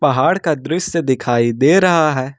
पहाड़ का दृश्य दिखाई दे रहा हैं।